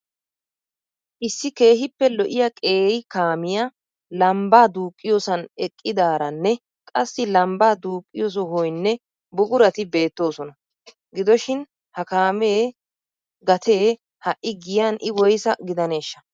Issi keehippe lo'iya qeeri kaamiya lambbaa duuqqiyosan eqidaaranne qassi lambbaa duuqqiyo sohoynne buqurati beettoosona. Gidoshin ha kaamee gatee ha''i giyan I woysaa gidaneeshsha?